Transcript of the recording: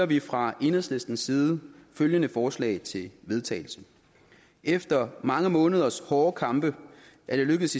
vi fra enhedslistens side følgende forslag til vedtagelse efter mange måneders hårde kampe er det lykkedes